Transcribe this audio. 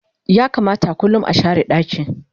ya kamata kullum a share ɗaki